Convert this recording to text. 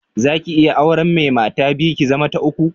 Za ki iya auren mai mata biyu, ki zama ta uku?